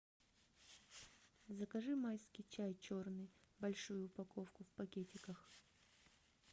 закажи майский чай черный большую упаковку в пакетиках